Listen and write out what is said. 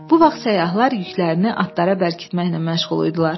Bu vaxt səyyahlar yüklərini atlara bərkitməklə məşğul idilər.